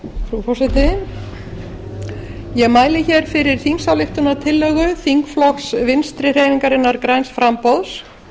frú forseti ég mæli hér fyrir þingsályktunartillögu þingflokks vinstri hreyfingarinnar græns framboðs